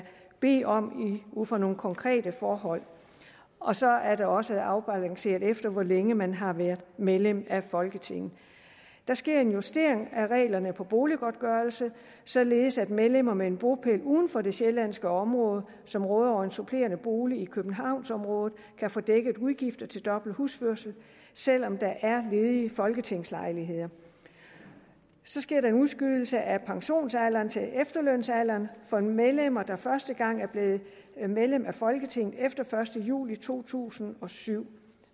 bede om ud fra nogle konkrete forhold og så er det også afbalanceret efter hvor længe man har været medlem af folketinget der sker en justering af reglerne for boliggodtgørelse således at medlemmer med en bopæl uden for det sjællandske område og som råder over en supplerende bolig i københavnsområdet kan få dækket udgifter til dobbelt husførelse selv om der er ledige folketingslejligheder så sker der en udskydelse af pensionsalderen til efterlønsalderen for medlemmer der første gang er blevet medlem af folketinget efter første juli to tusind og syv